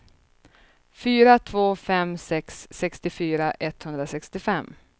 fyra två fem sex sextiofyra etthundrasextiofem